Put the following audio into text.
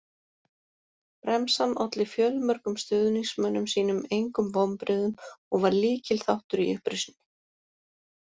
Bremsan olli fjölmörgum stuðningsmönnum sínum engum vonbrigðum og var lykilþáttur í upprisunni.